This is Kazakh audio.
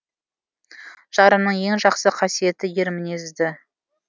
жарымның ең жақсы қасиеті ер мінезді